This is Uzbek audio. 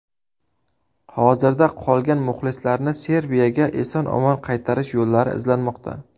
Hozirda qolgan muxlislarni Serbiyaga eson-omon qaytarish yo‘lllari izlanmoqda.